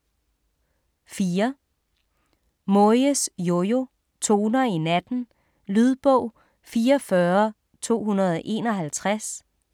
4. Moyes, Jojo: Toner i natten Lydbog 44251